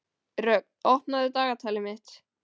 Rögn, opnaðu dagatalið mitt.